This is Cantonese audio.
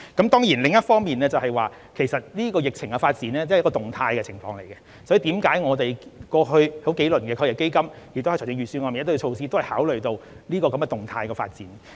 當然，另一方面，疫情發展是動態的，所以我們在過去數輪基金，以及在預算案內提出的很多措施，也是因為考慮到這些動態的發展。